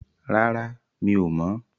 Rárá, mi ò mọ̀.